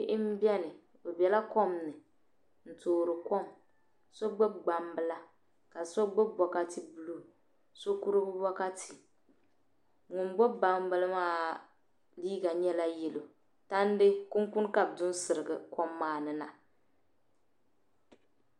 bihi m-beni bɛ bela kom ni n-toori kom so gbubi gbambila ka so gbubi bɔkati buluu so kurigu bɔkati ŋun gbubi gbambila maa liiga nyɛla yɛlo tandi kunkuni ka bɛ du n-sirigi kom maa ni na